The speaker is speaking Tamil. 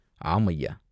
"ஆம், ஐயா!